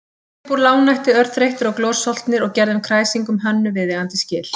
Við komum heim uppúr lágnætti örþreyttir og glorsoltnir og gerðum kræsingum Hönnu viðeigandi skil.